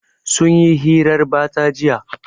Sun yi hirar batsa jiya.